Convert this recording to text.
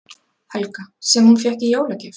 Helga: Sem hún fékk í jólagjöf?